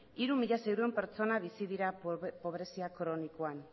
hiru mila seiehun pertsona bizi dira pobrezia kronikoan